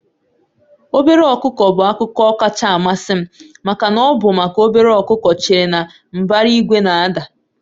Obere ọkụkọ bụ akụkọ kacha amasị m maka na ọ bụ maka obere ọkụkọ chere na mbara igwe na-ada.